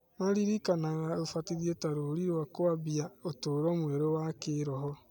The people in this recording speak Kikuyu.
Maririkanaga ũbatithio ta rũri rwa kũambia ũtũũro mwerũ wa kĩĩroho.